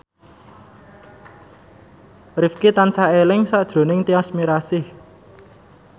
Rifqi tansah eling sakjroning Tyas Mirasih